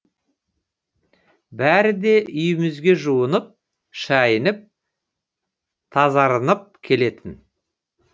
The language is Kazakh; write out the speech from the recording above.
бәрі де үйімізге жуынып шайынып тазарынып келетін